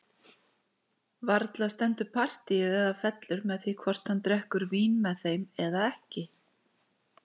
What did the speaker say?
Varla stendur partíið eða fellur með því hvort hann drekkur vín með þeim eða ekki!